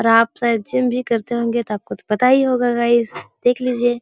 और आप शायद जिम भी करते होंगे तो आपको तो पता ही होगा गाइज देख लिजिएं ।